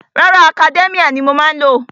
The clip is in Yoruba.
Rárá, Academia ni mo má ń lò.